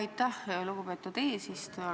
Aitäh, lugupeetud eesistuja!